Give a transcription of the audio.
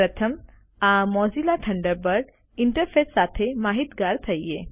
પ્રથમ આ Mozilla Thunderbird interface સાથે માહિતગાર થઈએ